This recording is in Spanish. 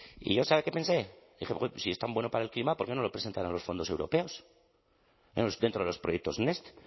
y yo sabe qué pensé dije huy si es tan bueno para el clima por qué no lo presentan a los fondos europeos dentro de los proyectos next